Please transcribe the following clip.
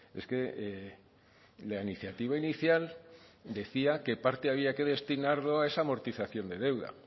es que la iniciativa inicial decía que parte había que destinarlo a esa amortización de deuda